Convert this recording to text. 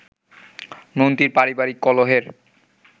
মন্ত্রীর পারিবারিক কলহের